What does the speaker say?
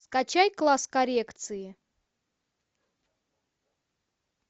скачай класс коррекции